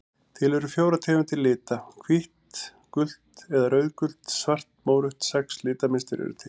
Til eru fjórar tegundir lita: hvítt gult eða rauðgult svart mórautt Sex litmynstur eru til.